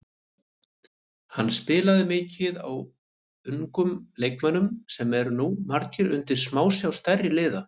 Hann spilaði mikið á ungum leikmönnum sem eru nú margir undir smásjá stærri liða.